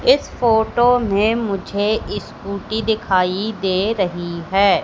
इस फोटो में मुझे स्कूटी दिखाई दे रही है।